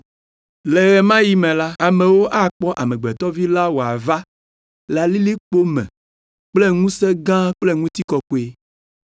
“Le ɣe ma ɣi me la, amewo akpɔ Amegbetɔ Vi la wòava le lilikpowo me kple ŋusẽ gã kple ŋutikɔkɔe.